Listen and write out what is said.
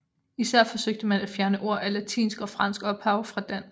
Især forsøgte man at fjerne ord af latinsk og fransk ophav fra dansk